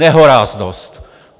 Nehoráznost!